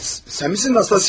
Sən misin Nastasya?